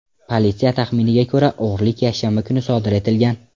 Politsiya taxminiga ko‘ra, o‘g‘rilik yakshanba kuni sodir etilgan.